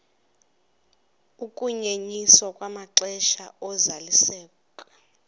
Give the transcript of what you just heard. ukunyenyiswa kwamaxesha ozalisekiso